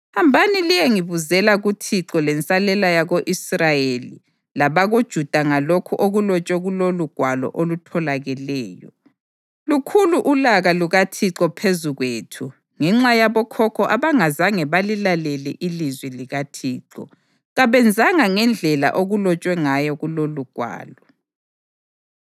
“Hambani liyengibuzela kuThixo lensalela yako-Israyeli labakoJuda ngalokhu okulotshwe kulolugwalo olutholakeleyo. Lukhulu ulaka lukaThixo phezu kwethu ngenxa yabokhokho abangazange balilalele ilizwi likaThixo; kabenzanga ngendlela okulotshwe ngayo kulolugwalo.”